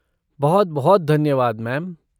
बहुत बहुत धन्यवाद, मैम।